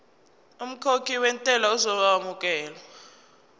umkhokhi wentela uzokwamukelwa